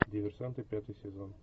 диверсанты пятый сезон